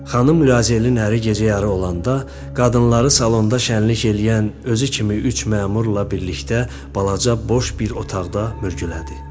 Xanım Lüazelin əri gecə yarı olanda qadınları salonda şənluk eləyən, özü kimi üç məmurla birlikdə balaca boş bir otaqda mürgülədi.